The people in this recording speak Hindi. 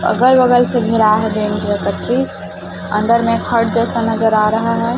अगल बगल से अंदर में जैसा नजर आ रहा है।